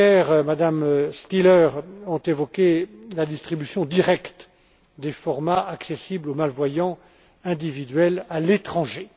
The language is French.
M. Becker et Mme Stihler ont évoqué la distribution directe des formats accessibles aux malvoyants individuels à l'étranger.